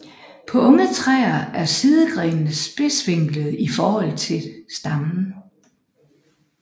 På unge træer er sidegrenene spidsvinklede i forhold til stammen